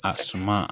A suma